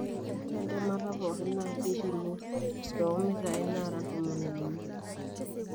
ore entemata pookin naa keipimi too mitai naara ntomoni uni